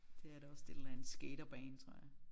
Det er det også det er en eller anden skaterbane tror jeg